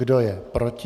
Kdo je proti?